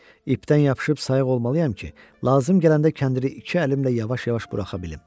İpdən yapışıb sayıq olmalıyam ki, lazım gələndə kəndiri iki əlimlə yavaş-yavaş buraxa bilim.